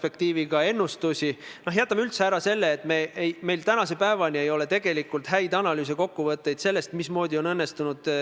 Ühelt poolt on ressursi koha pealt tõesti mõistlik suhelda ministeeriumidega, teiselt poolt, nii nagu antud juhtum näitas, ei pruugi see olla piisav, et kõik saaksid oma huvid väljendatud.